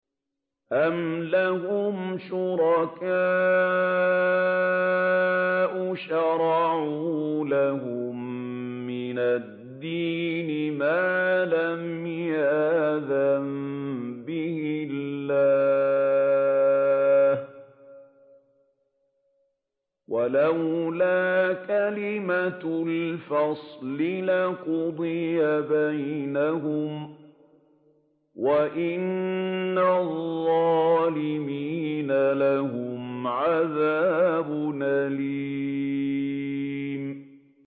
أَمْ لَهُمْ شُرَكَاءُ شَرَعُوا لَهُم مِّنَ الدِّينِ مَا لَمْ يَأْذَن بِهِ اللَّهُ ۚ وَلَوْلَا كَلِمَةُ الْفَصْلِ لَقُضِيَ بَيْنَهُمْ ۗ وَإِنَّ الظَّالِمِينَ لَهُمْ عَذَابٌ أَلِيمٌ